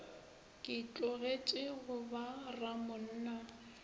ke tlogetše go ba ramonna